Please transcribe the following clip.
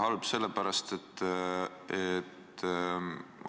Halb sellepärast, et